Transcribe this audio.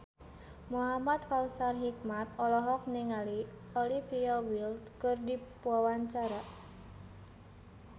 Muhamad Kautsar Hikmat olohok ningali Olivia Wilde keur diwawancara